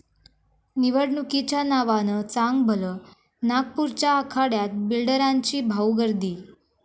निवडणुकीच्या नावानं चांगभलं, नागपूरच्या आखाड्यात बिल्डरांची भाऊगर्दी